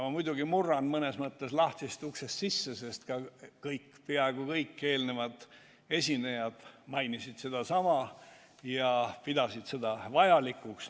Ma muidugi murran mõnes mõttes lahtisest uksest sisse, sest peaaegu kõik eelmised esinejad märkisid sedasama ja pidasid seda vajalikuks.